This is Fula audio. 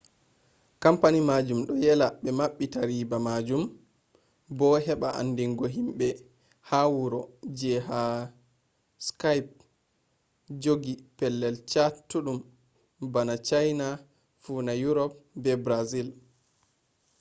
kompani majum ɗo yela ɓe maɓɓita riba majum bo heɓa andigo himɓe ha wuro ji ha skaip jogi pelel chattuɗum bana chaina funa yurop be brazil